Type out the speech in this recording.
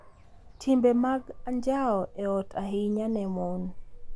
Timbe mag anjao e ot ahinya ne mon